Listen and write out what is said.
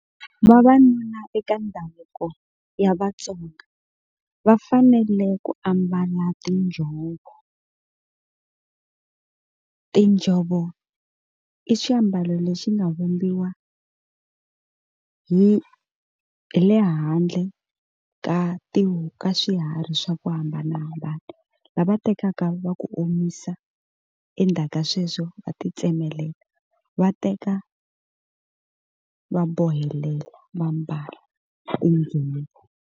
Vavanuna eka ndhavuko ya Vatsonga va fanele ku ambala tinjhovo, tinjhovo i xiambalo lexi nga vumbiwa hi hi le handle ka ka swiharhi swa ku hambanahambana lava tekaka va ku omisa endzhaku ka sweswo va ti tsemelela va teka va bohela va mbala .